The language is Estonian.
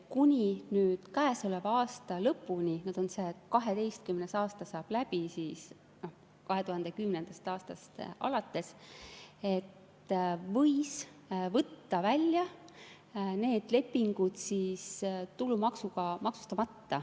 Kuni käesoleva aasta lõpuni – see 12 aastat alates 2010. aastast saab läbi – võis võtta välja need tulumaksuga maksustamata.